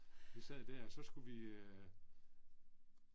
Vi sad der og så skulle vi øh